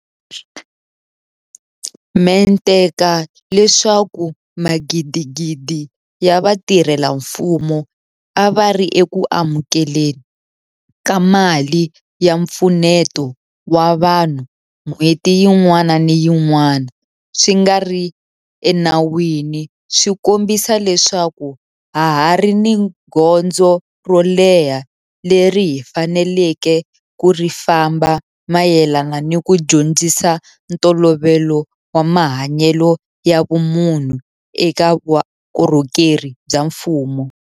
Mente ka leswaku magidigidi ya vatirhela mfumo a va ri eku amukele ni ka mali ya mpfuneto wa vanhu n'hweti yin'wana ni yin'wana swi nga ri enawini swi kombisa leswaku ha ha ri ni gondzo ro leha leri hi faneleke ku ri famba mayelana ni ku dyondzisa ntolovelo wa mahanyelo ya vumunhu eka vukorhokeri bya mfumo.